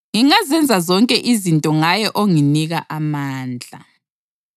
Ngingazenza zonke izinto ngaye onginika amandla.